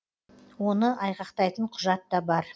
оны айғақтайтын құжат та бар